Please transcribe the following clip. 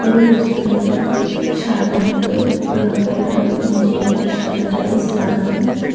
পুরো রেস্টুরেন্টটা সাদা রঙের রং করা মিডিলে সাদা টাইলস লাগানো।